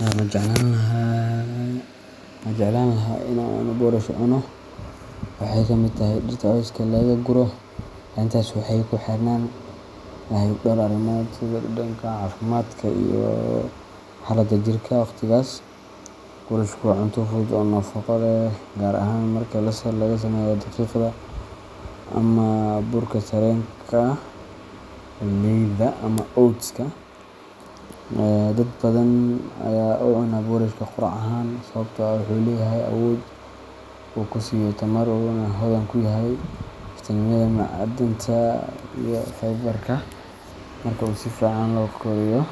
Ma jeclaan lahaa in aan boorash cuno? Waxey kamid tahay dhirta cawska laga guro. Arrintaas waxay ku xirnaan lahayd dhowr arrimood sida dhadhanka, caafimaadka, iyo xaaladda jirka waqtigaas. Boorashku waa cunto fudud oo nafaqo leh, gaar ahaan marka laga sameeyo daqiiqda ama burka sarreenka, galleyda, ama oats-ka. Dad badan ayaa u cunaa boorashka quraac ahaan sababtoo ah wuxuu leeyahay awood uu ku siiyo tamar, wuxuuna hodan ku yahay fiitamiinada, macdanta, iyo fiber-ka. Marka uu si fiican loo kariyo